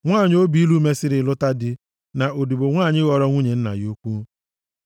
nwanyị obi ilu mesịrị lụta dị, na odibo nwanyị ghọrọ nwunye nna ya ukwu.